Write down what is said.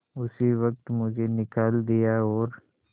उसी वक्त मुझे निकाल दिया और